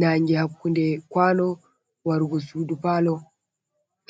nange hakkunde kwano wargo sudu Palo.